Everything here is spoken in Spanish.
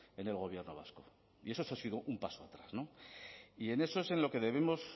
en el gobierno vasco y eso ha sido un paso atrás y en eso es en lo que debemos